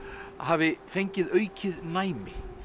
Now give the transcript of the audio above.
hafi fengið aukið næmi